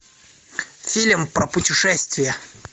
фильм про путешествия